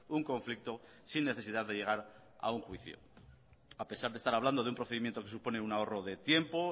un conflicto sin necesidad de llegar a un juicio a pesar de estar hablando de un procedimiento que supone un ahorro de tiempo